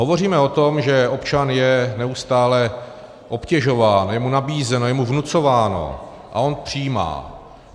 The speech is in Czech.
Hovoříme o tom, že občan je neustále obtěžován, je mu nabízeno, je mu vnucováno, a on přijímá.